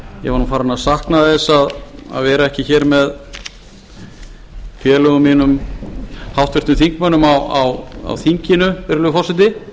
ég var farinn að sakna þess að vera ekki hér með félögum mínum háttvirtum þingmönnum á þinginu virðulegi forseti